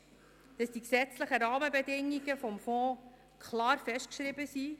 Wichtig ist, dass die gesetzlichen Rahmenbedingungen der Fonds klar festgeschrieben sind.